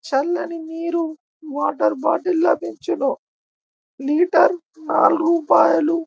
చల్లని నీరు water bottles లో తెచ్చును లీటర్ నాలుగు రూపాయిలు.